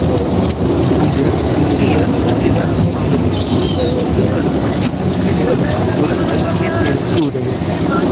இது இந்திய சுதந்திர அரசாங்கத்திற்கு இந்துக்களுக்கும் முசுலிம்களுக்கும் ஒரு ஐக்கிய தேர்வுக்கு உதவும்